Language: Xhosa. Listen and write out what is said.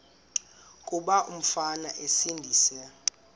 kuba umfana esindise